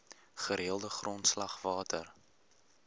gereelde grondslag water